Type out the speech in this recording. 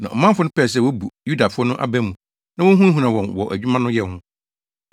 Na ɔmanfo no pɛɛ sɛ wobu Yudafo no aba mu na wohunahunaa wɔn wɔ adwuma no yɛ ho.